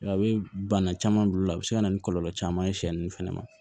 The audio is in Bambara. A bɛ bana caman bila olu la a bɛ se ka na ni kɔlɔlɔ caman ye sɛ ninnu fɛnɛ ma